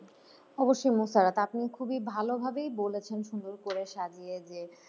অবশ্যই মুশারত আপনি খুবই ভালোভাবেই বলেছেন সুন্দর করে সাজিয়ে যে,